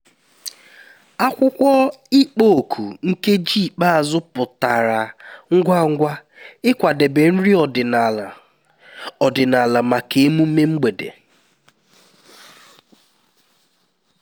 akwụkwọ ịkpọ òkù nkeji ikpeazụ pụtara ngwa ngwa ịkwadebe nri ọdịnala ọdịnala maka emume mgbede